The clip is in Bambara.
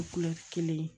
kelen ye